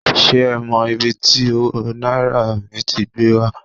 Se e mo ibi ti owo naira mi ti gbe wa